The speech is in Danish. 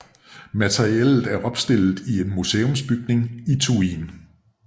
Materiellet er opstillet i en museumsbygning i Thuin